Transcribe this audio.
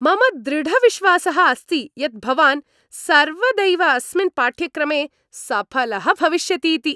मम दृढविश्वासः अस्ति यत् भवान् सर्वदैव अस्मिन् पाठ्यक्रमे सफलः भविष्यतीति।